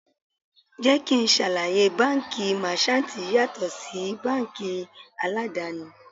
Jẹ́ kí n ṣàlàyé, báńkì Máṣántìì yàtọ̀ sí báńkì aládàni.